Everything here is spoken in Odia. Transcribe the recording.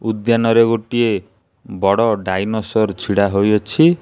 ଉଦ୍ୟାନରେ ଗୋଟିଏ ବଡ଼ ଡାଇନୋସର ଛିଡ଼ା ହୋଇ ଅଛି।